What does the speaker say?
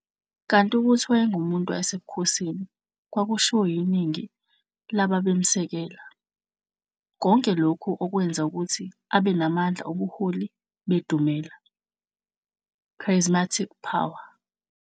Kanti ukuthi wayengumuntu wasebukhosini kwakushiwo yiningi lababemsekela, konke lokhu okwenza ukuthi abenamandla obuholi bedumela, "charismatic power".